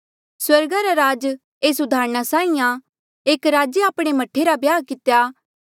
स्वर्गा रा राज एस उदाहरणा साहीं आं एक राजे आपणे मह्ठे रा ब्याह कितेया